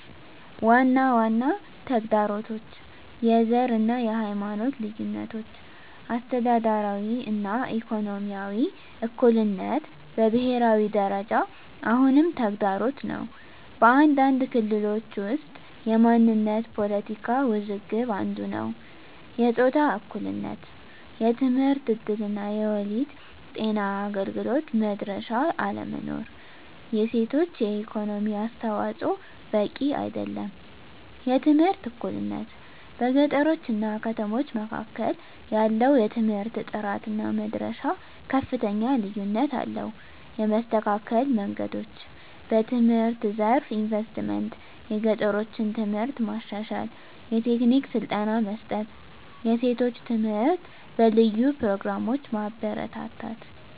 ዋና ዋና ተግዳሮቶች፦ # የዘር እና የሃይማኖት ልዩነቶች - አስተዳደራዊ እና ኢኮኖሚያዊ እኩልነት በብሄራዊ ደረጃ አሁንም ተግዳሮት ነው። በአንዳንድ ክልሎች ውስጥ የማንነት ፖለቲካ ውዝግብ አንዱ ነዉ። #የጾታ እኩልነት የትምህርት እድል እና የወሊድ ጤና አገልግሎት መድረሻ አለመኖር። የሴቶች የኢኮኖሚ አስተዋፅዖ በቂ አይደለም። #የትምህርት እኩልነት - በገጠሮች እና ከተሞች መካከል ያለው የትምህርት ጥራት እና መድረሻ ከፍተኛ ልዩነት አለው። የመስተካከል መንገዶች፦ #በትምህርት ዘርፍ ኢንቨስትመንት - የገጠሮችን ትምህርት ማሻሻል፣ የቴክኒክ ስልጠና መስጠት፣ የሴቶች ትምህርት በልዩ ፕሮግራሞች ማበረታታት።